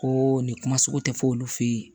Ko nin kuma sugu tɛ fɔ olu fɛ yen